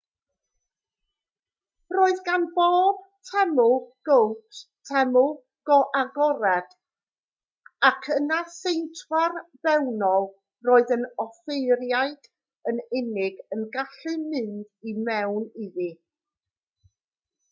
roedd gan bob teml gowt teml agored ac yna seintwar fewnol roedd yr offeiriaid yn unig yn gallu mynd i mewn iddi